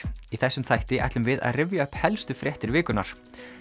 í þessum þætti ætlum við að rifja upp helstu fréttir vikunnar